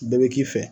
Bɛɛ bɛ k'i fɛ